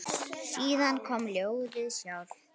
Síðan kom ljóðið sjálft